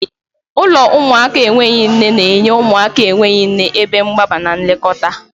Ụlọ ụmụaka enweghị nne na-enye ụmụaka enweghị nne ebe mgbaba na nlekọta.